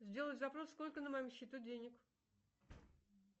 сделай запрос сколько на моем счету денег